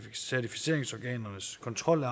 certificeringsorganernes kontrol af